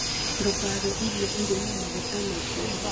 Ndũkarĩe irio irĩ na maguta maingĩ.